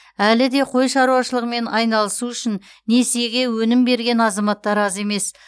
әлі де қой шаруашылығымен айналысу үшін несиеге өнім берген азаматтар аз емес